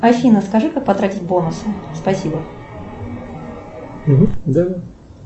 афина скажи как потратить бонусы спасибо